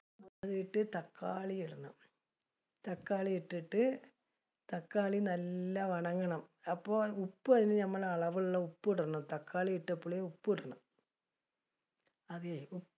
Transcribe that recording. അതിലേക്ക് തക്കാളി ഇടണം. തക്കാളി ഇട്ടിട്ട്, തക്കാളി നല്ല അപ്പ ഉപ്പ് അളവുള്ള ഉപ്പ് ഇടണം. തക്കാളി ഇട്ടപളി ഉപ്പ് ഇടണം . അതെ